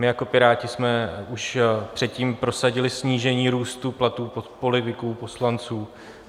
My jako Piráti jsme už předtím prosadili snížení růstu platů politiků, poslanců.